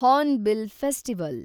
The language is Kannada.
Hornbill festival